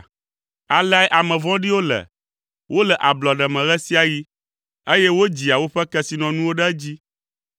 Aleae ame vɔ̃ɖiwo le, wole ablɔɖe me ɣe sia ɣi, eye wodzia woƒe kesinɔnuwo ɖe edzi.